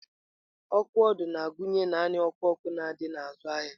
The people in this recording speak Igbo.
Ọkụ ọdụ na-agụnye naanị ọkụ ọkụ na ndị na-azụ ahịa.